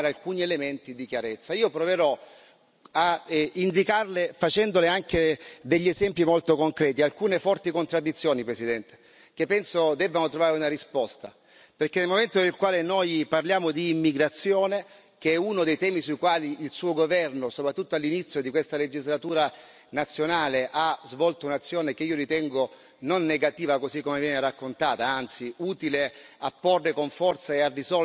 Io proverò a indicarle, facendole anche degli esempi molto concreti, alcune forti contraddizioni, Presidente, che penso debbano trovare una risposta, perché nel momento nel quale noi parliamo di immigrazione che è uno dei temi sui quali il suo governo, soprattutto all'inizio di questa legislatura nazionale, ha svolto un'azione che io ritengo non negativa così come viene raccontata, ma anzi utile a porre con forza e a avviare a soluzione un problema